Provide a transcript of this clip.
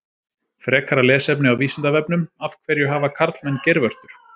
Frekara lesefni á Vísindavefnum: Af hverju hafa karlmenn geirvörtur?